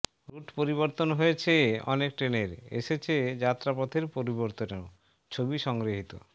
root পরিবর্তন হয়েছে অনেক ট্রেনের এসেছে যাত্রা পথের পরিবর্তনও ছবি সংগৃহীত